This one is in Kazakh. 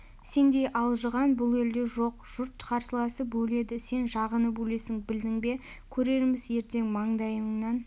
сендей алжыған бұл елде жоқ жұрт қарсыласып өледі сен жағынып өлесің білдің бе көрерміз ертең мандайыңнан